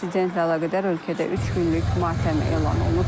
İnsidentlə əlaqədar ölkədə üç günlük matəm elan olunub.